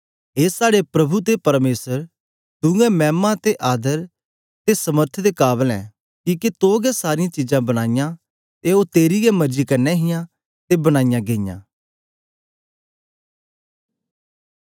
ए साड़े प्रभु ते परमेसर तूंऐं मैमा ते आदर ते समर्थ दे काबल ऐ किके तू गै सारीयां चीजां बनाईयां ते ओ तेरी गै मर्जी कन्ने हियां ते बनाई गेईयां